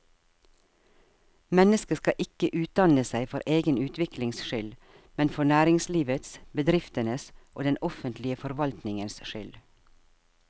Mennesket skal ikke utdanne seg for egen utviklings skyld, men for næringslivets, bedriftenes og den offentlige forvaltningens skyld.